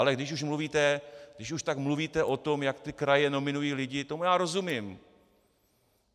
Ale když už tak mluvíte o tom, jak ty kraje nominují lidi, tomu já rozumím.